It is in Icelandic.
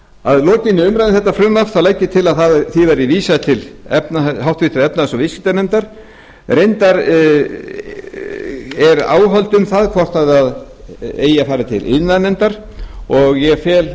að lokinni umræðu um þetta frumvarp legg ég til að því verði vísað til háttvirtrar efnahags og viðskiptanefndar reyndar eru áhöld um það hvort það eigi að fara til iðnaðarnefndar og ég fel